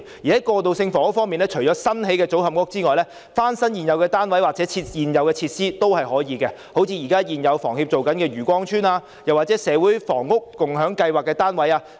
在過渡性房屋方面，除了新興建的組合屋外，翻新現有單位或現有設施亦可以，例如現時房協提供過渡性房屋的漁光邨單位，又或是社會房屋共享計劃的單位。